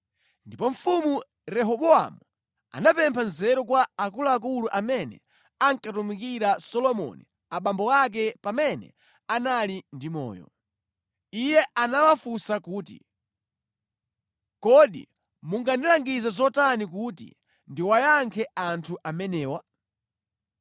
Ndipo Mfumu Rehobowamu anapempha nzeru kwa akuluakulu amene ankatumikira Solomoni abambo ake pamene anali ndi moyo. Iye anawafunsa kuti, “Kodi mungandilangize zotani kuti ndiwayankhe anthu amenewa?”